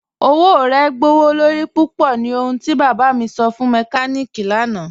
Ọwọ̀ rẹ gbọwọ́lorí púpọ̀ ni ohùn ti bába mi sọ̀ fún mẹ́kàníkí lànà.